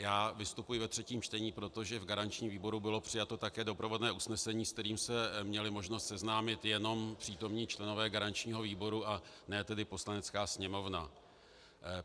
Já vystupuji ve třetím čtení, protože v garančním výboru bylo přijato také doprovodné usnesení, se kterým se měli možnost seznámit jenom přítomní členové garančního výboru a ne tedy Poslanecká sněmovna.